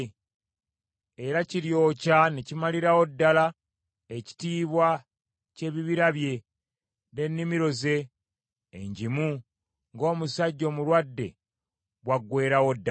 Era kiryokya ne kimalirawo ddala ekitiibwa ky’ebibira bye, n’ennimiro ze, engimu, ng’omusajja omulwadde bwaggweerawo ddala.